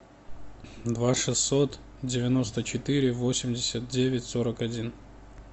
два шестьсот девяносто четыре восемьдесят девять сорок один